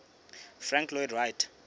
frank lloyd wright